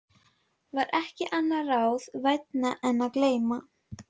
var ekki annað ráð vænna en að gleyma.